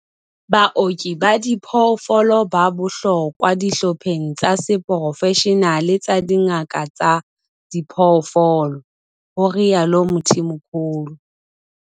Baoki ba diphoofolo ba bohlokwa dihlopheng tsa seporofeshenale tsa dingaka tsa diphoofolo, ho rialo Mthimkhulu.